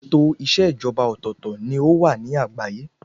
Ètò ìṣèjọba ọ̀tọ̀ọ̀tọ̀ ni ó wà ní àgbáyé.